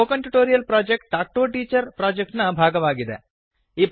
spoken tutorial project talk to a teacher project ನ ಭಾಗವಾಗಿದೆ